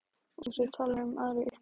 Og þú talar um aðra uppskrift.